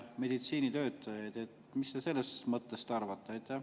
Mis te sellest mõttest arvate?